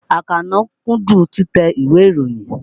Àkànó kúndùn títẹ ìwé ìròyìn.